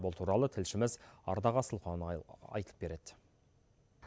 бұл туралы тілшіміз ардақ асылханұлы айтып береді